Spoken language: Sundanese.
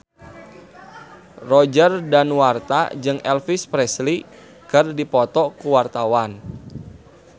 Roger Danuarta jeung Elvis Presley keur dipoto ku wartawan